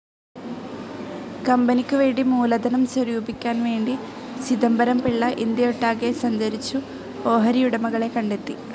കമ്പനിക്കു വേണ്ടി മൂലധനം സ്വരൂപിക്കാൻ വേണ്ടി, ചിദംബരം പിള്ള ഇന്ത്യയൊട്ടാകെ സഞ്ചരിച്ചു ഓഹരിയുടമകളെ കണ്ടെത്തി.